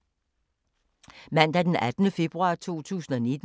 Mandag d. 18. februar 2019